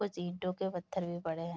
कुछ ईंटों के पत्थर भी पड़े हैं।